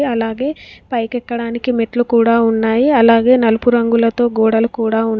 అలాగే పైకెక్కడానికి మెట్లు కూడా ఉన్నాయి అలాగే నలుపు రంగులతో గోడలు కూడా ఉన్నాయి.